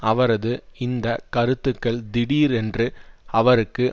அவரது இந்த கருத்துக்கள் திடீரென்று அவருக்கு